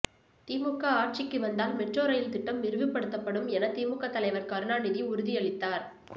திமுக ஆட்சிக்கு வந்தால் metro rail திட்டம் விரிவுபடுத்தப்படும் என திமுக தலைவர் கருணாநிதி உறுதியளித்தார்